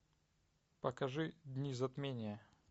покажи дни затмения